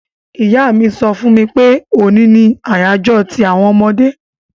Ìyá mi so fún mi pe òní ni àyájó ti àwon ọmọdé